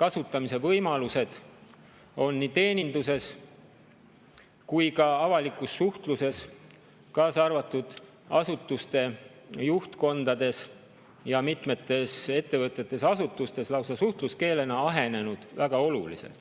kasutamise võimalused on nii teeninduses kui ka avalikus suhtluses, kaasa arvatud asutuste juhtkondades, mitmetes ettevõtetes ja asutustes, lausa suhtluskeelena ahenenud väga oluliselt.